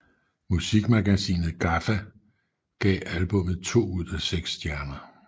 Musikmagasinet GAFFA gav albummet to ud af seks stjerner